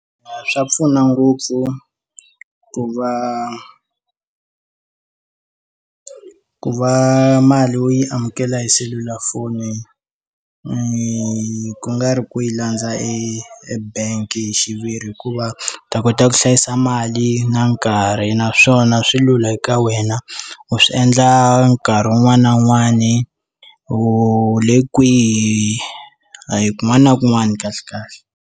Swa pfuna ngopfu ku va ku va mali wo yi amukela hi selulafoni ni ku nga ri ku yi landza e bank hi xiviri hikuva ta kota ku hlayisa mali na nkarhi naswona swi lula eka wena u swi endla nkarhi wun'wani na wun'wani u le kwihi a hi kun'wana na kun'wana kahle kahle.